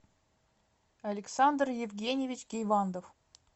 александр евгеньевич гейвандов